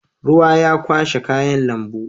Ruwa ya kwashe kayan lambu.